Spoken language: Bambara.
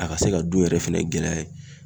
A ka se ka du yɛrɛ fɛnɛ gɛlɛya ye.